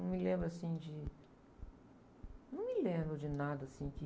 Não me lembro, assim, de... Não me lembro de nada, assim, que...